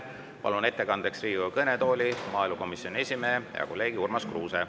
Palun ettekandeks Riigikogu kõnetooli maaelukomisjoni esimehe, hea kolleegi Urmas Kruuse.